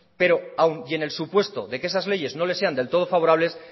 pero aún y en el supuesto de que esas leyes no les sean del todo favorables